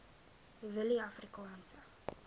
willieafrikaanse